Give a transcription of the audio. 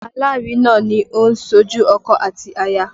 Alárinà ni ó ń ṣojú ọkọ àti aya